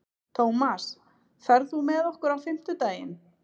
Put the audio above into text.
Tómas, ferð þú með okkur á fimmtudaginn?